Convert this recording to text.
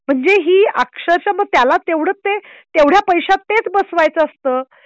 म्हणजे ही अक्षरश मग त्याला तेवढंच ते तेवढ्या पैशात तेच बसवायचं असतं